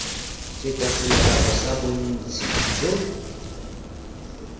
feta selekano sa bontsi jo